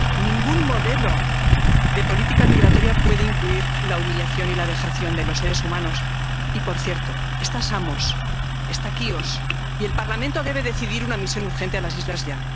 Ningún modelo de política migratoria puede incluir la humillación y la vejación de los seres humanos. Y, por cierto, está Samos, está Quíos, y el Parlamento debe decidir enviar una misión urgente a las islas ya.